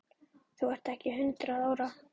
Þú ert ekki hundrað ára!